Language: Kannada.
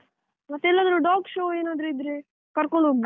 ಮತ್ತೆಎಲ್ಲದ್ರೂ dog show ಏನಾದ್ರು ಇದ್ರೆ ಕರ್ಕೊಂಡ್ ಹೋಗ್ಬೋದು.